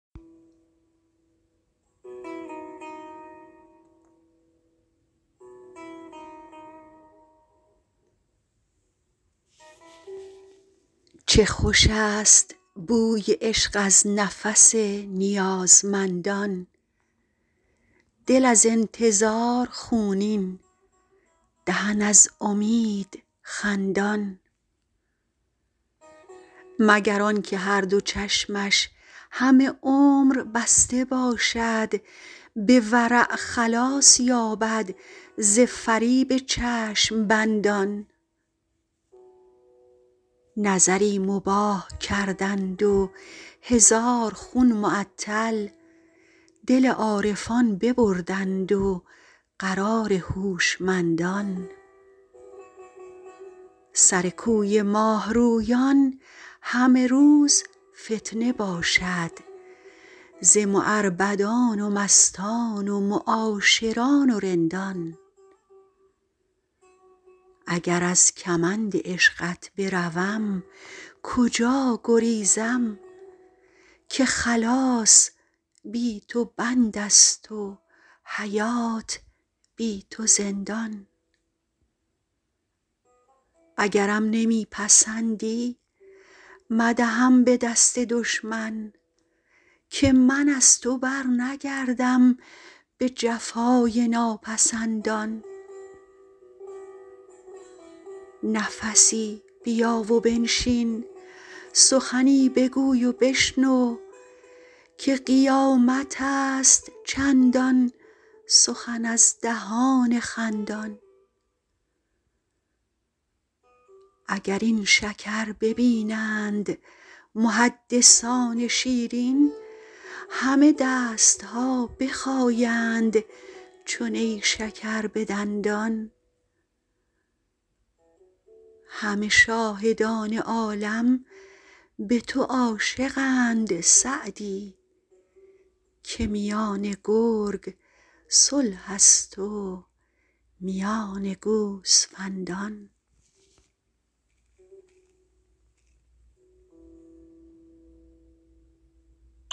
چه خوش است بوی عشق از نفس نیازمندان دل از انتظار خونین دهن از امید خندان مگر آن که هر دو چشمش همه عمر بسته باشد به ورع خلاص یابد ز فریب چشم بندان نظری مباح کردند و هزار خون معطل دل عارفان ببردند و قرار هوشمندان سر کوی ماه رویان همه روز فتنه باشد ز معربدان و مستان و معاشران و رندان اگر از کمند عشقت بروم کجا گریزم که خلاص بی تو بند است و حیات بی تو زندان اگرم نمی پسندی مدهم به دست دشمن که من از تو برنگردم به جفای ناپسندان نفسی بیا و بنشین سخنی بگوی و بشنو که قیامت است چندان سخن از دهان خندان اگر این شکر ببینند محدثان شیرین همه دست ها بخایند چو نیشکر به دندان همه شاهدان عالم به تو عاشقند سعدی که میان گرگ صلح است و میان گوسفندان